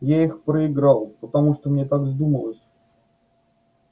я их проиграл потому что мне так вздумалось